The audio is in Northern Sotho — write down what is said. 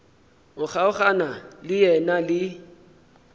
o kgaogana le yena le